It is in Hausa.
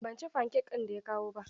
Ban ci fankek ɗin da ya kawo ba.